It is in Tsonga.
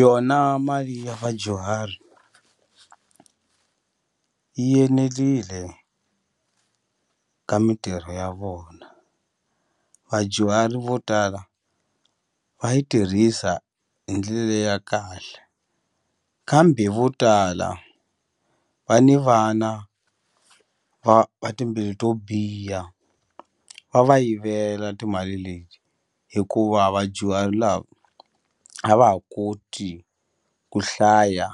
Yona mali ya vadyuhari yi enelile ka mintirho ya vona, vadyuhari vo tala va yi tirhisa hi ndlele ya kahle kambe vo tala va ni vana va va timbilu to biha va va yivela timali leti hikuva vadyuhari lava a va ha koti ku hlaya